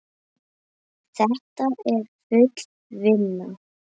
Þetta er full vinna.